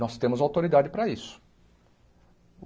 Nós temos autoridade para isso.